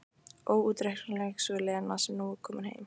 Óútreiknanleg sú Lena sem nú er komin heim.